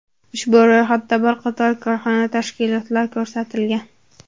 Ushbu ro‘yxatda bir qator korxona, tashkilotlar ko‘rsatilgan.